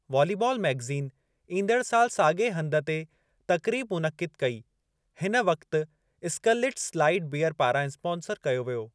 Volleyball magazine ईंदड़ सालु साॻिए हंधि ते तक़रीब मुनइक़िद कई, हिन वक्ति स्कलिटज़ लाइट बीअर पारां स्पांसर कयो वियो।